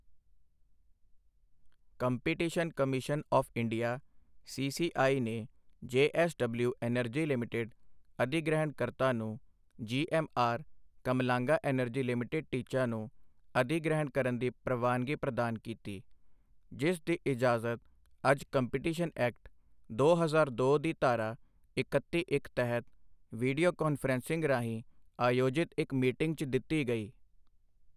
Competition commission of India CCI ਨੇ JSW energy limited ਅਧਿਗ੍ਰਹਿਣਕਰਤਾ ਨੂੰ ਜੀਐੱਮਆਰ ਕਮਲਾਂਗਾ ਐਨਰਜੀ ਲਿਮਿਟਿਡ ਟੀਚਾ ਨੂੰ ਅਧਿਗ੍ਰਹਿਣ ਕਰਨ ਦੀ ਪ੍ਰਵਾਨਗੀ ਪ੍ਰਦਾਨ ਕੀਤੀ, ਜਿਸ ਦੀ ਇਜਾਜ਼ਤ ਅੱਜ ਕੰਪੀਟੀਸ਼ਨ ਐਕਟ, ਦੋ ਹਜ਼ਾਰ ਦੋ ਦੀ ਧਾਰਾ ਇਕੱਤੀ ਇੱਕ ਤਹਿਤ ਵੀਡੀਓ ਕਾਨਫ਼ਰੰਸਿੰਗ ਰਾਹੀਂ ਆਯੋਜਿਤ ਇੱਕ ਮੀਟਿੰਗ 'ਚ ਦਿੱਤੀ ਗਈ।